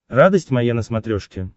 радость моя на смотрешке